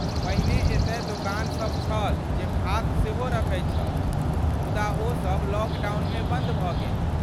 पहिने एतय दोकानसभ छल जे भात सेहो रखैत छल, मुदा ओसभ लॉकडाउनमे बन्द भ गेल।